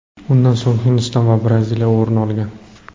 Undan so‘ng Hindiston va Braziliya o‘rin olgan.